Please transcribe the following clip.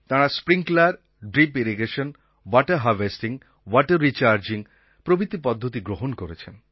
তাঁরা sprinkler drip irrigation water harvesting water recharging প্রভৃতি পদ্ধতি গ্রহণ করেছেন